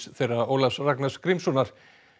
þeirra Ólafs Ragnars Grímssonar